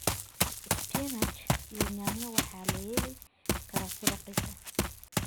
Spinach iyo yaanyada waxaa lahelii karaa si raqiis aah.